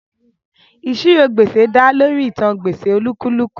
Ìṣirò gbèsè dá lórí ìtàn gbèsè olúkúlùkù